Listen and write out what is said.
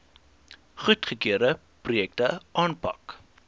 goedgekeurde projekte aanpak